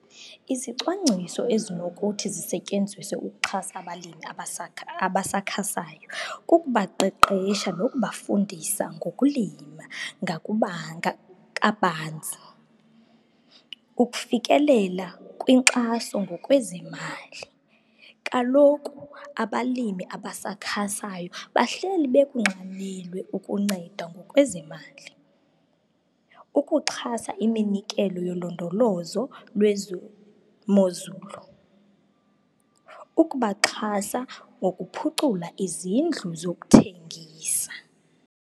Izicwangciso ezinokuthi zisetyenziswe ukuxhasa abalimi abasakhasayo kukubaqeqesha nokubafundisa ngokulima kabanzi ukufikelela kwinkxaso ngokwezemali. Kaloku abalimi abasakhasayo bahleli bekunxanelwe ukuncedwa ngokwezemali ukuxhasa iminikelo yolondolozo lwezemozulu, ukubaxhasa ngokuphucula izindlu zokuthengisa.